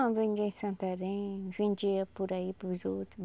Ah, vendia em Santarém, vendia por aí para os outros.